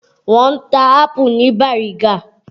Wọ́n ń ta ápù ní Bàrígá.